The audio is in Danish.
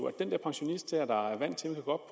at den der pensionist der er vant til at gå